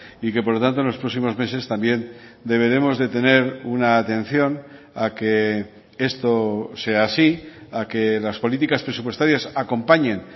y que por lo tanto en los próximos meses también deberemos de tener una atención a que esto sea así a que las políticas presupuestarias acompañen